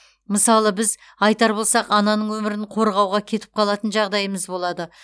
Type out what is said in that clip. мысалы біз айтар болсақ ананың өмірін қорғауға кетіп қалатын жағдайымыз болады